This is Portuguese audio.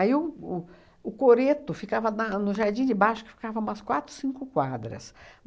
Aí o o o coreto ficava na no jardim de baixo, que ficava umas quatro, cinco quadras.